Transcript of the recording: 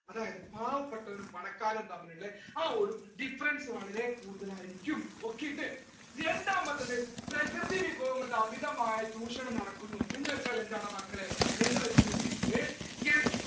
അതായത് പാവപ്പെട്ടവനും പണക്കാരനും തമ്മിലുള്ള ആ difference ഒരു വളരെ കൂടുതൽ ആയിരിക്കും രണ്ടാമത്തത് പ്രകൃതിവിഭവങ്ങളുടെ അമിതമായ ചൂഷണം നടക്കുന്നു എന്ന് വെച്ചാൽ എന്താണ് മക്കളെ എന്നുവെച്ചിട്ടുണ്ടെങ്കിൽ